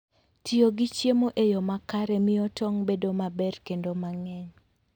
Tiyo gi chiemo e yo makare miyo tong' bedo maber kendo mang'eny.